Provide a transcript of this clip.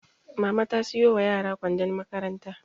Mama ta siyo wa yara kwandon makaranta